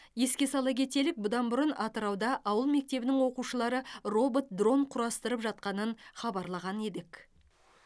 еске сала кетелік бұдан бұрын атырауда ауыл мектебінің оқушылары робот дрон құрастырып жатқанын хабарлаған едік